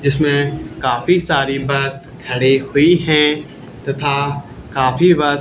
जिसमें काफी सारी बस खड़ी हुई है तथा काफी बस --